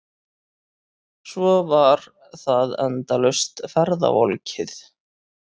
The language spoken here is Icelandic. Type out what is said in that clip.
Svo var það endalaust ferðavolkið.